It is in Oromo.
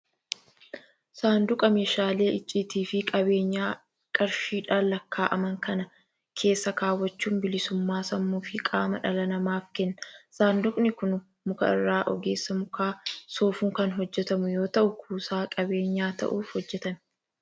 Saanduqa meeshaalee icciitaa fi qabeenya qarshiidhaan lakkaa'aman kana keessa kaawwachuun bilisummaa sammuu fi qaamaa dhala namaaf kenna. Saanduqni kun muka irraa ogeessa muka soofuun kan hojjetamu yoo ta'u, kuusaa qabeenyaa ta'uuf hojjetame.